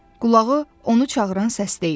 Qulağı onu çağıran səsdə idi.